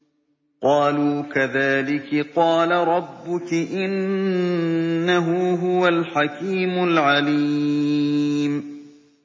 قَالُوا كَذَٰلِكِ قَالَ رَبُّكِ ۖ إِنَّهُ هُوَ الْحَكِيمُ الْعَلِيمُ